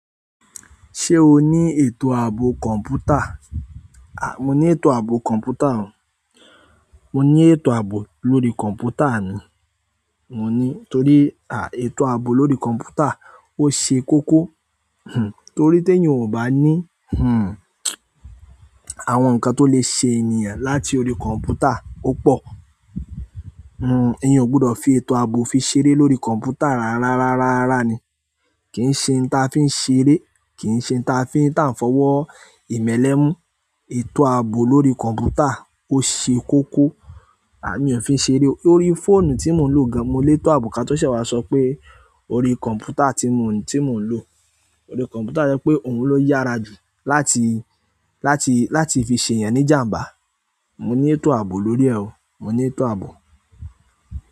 Ṣe ọ ní ètò àbò computer, a mọ ní ètò àbò computer. Mo ní ètò ààbò lórí computer ni. Mo ní, torí à, ètò ààbò lórí computer ó ṣe kókó. Hmm, torí tí ènìyàn ò bá ní, hmm, àwọn nǹkan tó lè ṣe ènìyàn láti orí kọ̀ǹpútà, ó pọ̀. Hmm, ènìyàn ò gbọdọ̀ fi ètò ààbò fi ṣeré lórí computer rárá rárá rárá ni. Kí ṣe òun tá fin ṣeré ki se òun tá fo wò imẹlẹ mu. Ètò ààbò lórí kọ̀ǹpútà ó ṣe kókó. A mi ò fi ń ṣeré. Ó rí fóònù tí mò ń lò ga, mo lè tọ ààbò ká tó ṣe wàá sọ pé, orí computer tí mò ń, tí mò ń lò. Orí kọ̀ǹpútà tó jẹ́ pé òun ló yára jù láti, láti, láti fi ṣe ènìyàn ní jàǹbá. Mo ní ètò ààbò lórí ẹ o. Mo ní ètò ààbò.